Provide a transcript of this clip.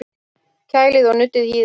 Kælið og nuddið hýðið af